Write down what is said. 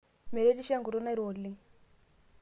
meretisho enkutuk nairo oleng